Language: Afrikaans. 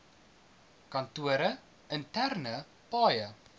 kantore interne paaie